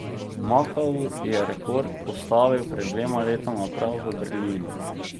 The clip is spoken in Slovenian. Makau je rekord postavil pred dvema letoma prav v Berlinu.